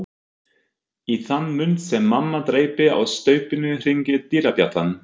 Í þann mund sem mamma dreypir á staupinu hringir dyrabjallan.